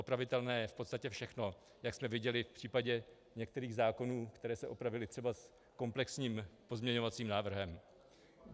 Opravitelné je v podstatě všechno, jak jsme viděli i v případě některých zákonů, které se opravily třeba komplexním pozměňovacím návrhem.